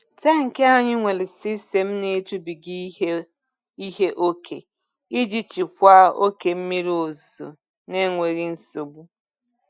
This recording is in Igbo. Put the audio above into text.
Tankị anyị nwere sistemu na-ejubiga ihe ihe ókè iji jikwa oke mmiri ozuzo n'enweghị nsogbu.